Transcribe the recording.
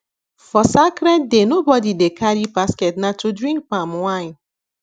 for sacred day nobody dey carry basketna to drink palm wine